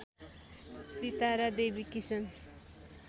Sitara Devi Kishan